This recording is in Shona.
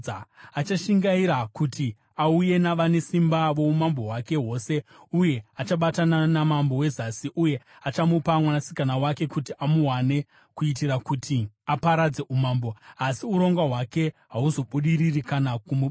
Achashingaira kuti auye navane simba voumambo hwake hwose uye achabatana namambo weZasi. Uye achamupa mwanasikana wake kuti amuwane kuitira kuti aparadze umambo, asi urongwa hwake hahuzobudiriri kana kumubatsira.